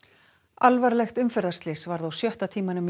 alvarlegt umferðarslys varð á sjötta tímanum